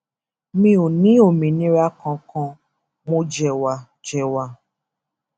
mi ò ní òmìnira kankan mo jẹwà jẹwà